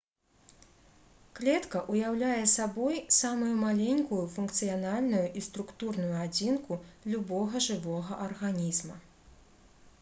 клетка ўяўляе сабой самую маленькую функцыянальную і структурную адзінку любога жывога арганізма